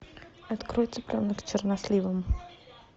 открой цыпленок с черносливом